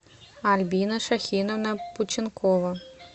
альбина шахиновна пученкова